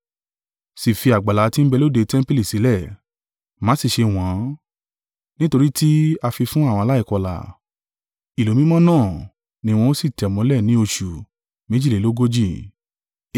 Sì fi àgbàlá tí ń bẹ lóde tẹmpili sílẹ̀, má sì ṣe wọ́n ọ́n; nítorí tí a fi fún àwọn aláìkọlà: ìlú mímọ́ náà ni wọn ó sì tẹ̀ mọ́lẹ̀ ní oṣù méjìlélógójì (42).